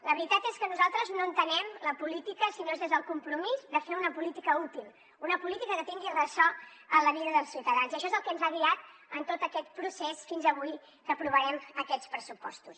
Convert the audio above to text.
la veritat és que nosaltres no entenem la política si no és des del compromís de fer una política útil una política que tingui ressò en la vida dels ciutadans i això és el que ens ha guiat en tot aquest procés fins avui que aprovarem aquests pressupostos